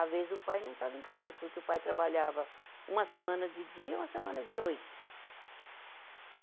Às vezes o pai não estava em casa, porque o pai trabalhava uma semana de dia e uma semana de noite. e